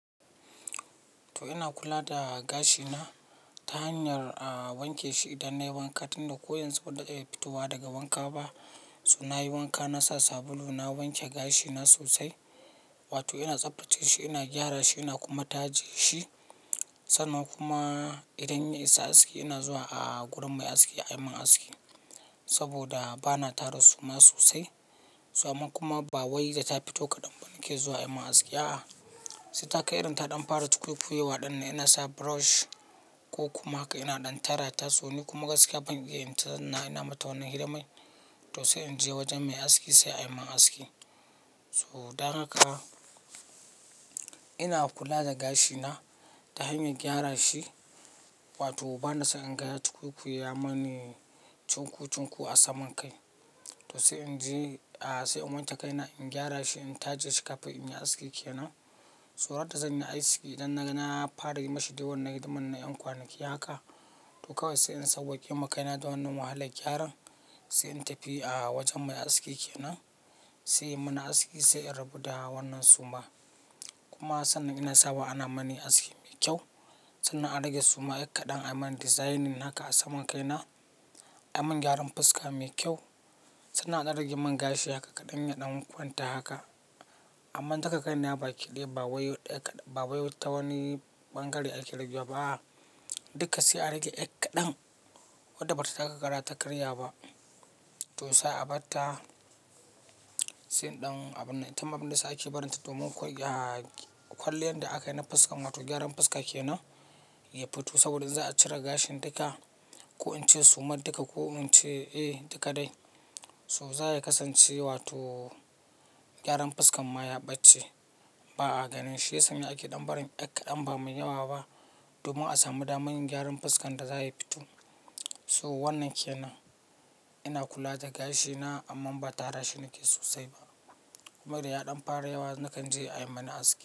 To ina kula da gashina ta hanyar a wanke shi idan nayi wanka tunda ko yanzu banda de da fitowa daga wanka ba. To nayi wanka nasa sabulu na wanke gashina sosai, wato ina tsaftace shi ina gyara shi ina kuma taje shi. Sannan kuma idan ya isa aski ina zuwa a gurin mai aski ayi min aski. Saboda bana tara suma sosai, so amma kuma ba wai da ta fito kaɗan ba nake zuwa ayi min aski. A, sai taka irin ta ɗan fara cukwi cukwu wa ɗan ina sa brush ko kuma haka ina ɗan tara ta, so ni kuma gaskiya ban iya inta sannan ina mata wannan hidimai. To sai in je wajen mai aski sai ayi min aski. So dan haka ina kula da gashina ta hanyar gyara shi wato bana so in ga cukwi cukwu ya mani cin ku cin ku a saman kai. To sai in je, a sai in wanke kaina in gyara shi in taje shi kafin in yi aski ke nan. Tsorata zanyi aski idan naga, na fara yi mashi dai wannan hidimar na yan kwanaki haka. To kawai sai in sauwa kema kaina da wannan wahalla gyaran. Sai in tafi a wajen mai aski kenan, sai yi mani aski sai in rabu da wannan suma. Kuma sannan ina sawa ana mani aski mai kyau. Sannan a rage suma ekka ɗan ayi mani designing haka a saman kaina. Ayi min gyaran fuska mai kyau sannan a ɗan rage min gashi haka kaɗan ya ɗan kwanta haka. Amma taka kaina ba kiɗe ba wai ekka ɗan, ba wai tawani ɓangare ake rage wa ba. Duka sai a rage ekka ɗan wadda bata taka kara ta karya ba. To sai a bata, sai ɗan abin, itama abin da yasa ake barinta domin kwai, kwalliyan da aka yi na fuska wato gyaran fuska kenan ya fito. Saboda za a cire gashin duka ko in ce sumar duka ko in ce eh duka dai. So za ya kasance wato gyaran fuskan ma ya bace ba a ganin shi. Sai ake ɗan barin ekka ɗan bamai yawa ba domin a samu damar yin gyaran fuskan da za ya fito. So wannan kenan ina kula da gashina amma ba tara shi nake sosai ba. Kuma da ya ɗan fara yawa nakan je ayi mani aski.